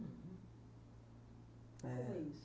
Uhum. É. Como é isso?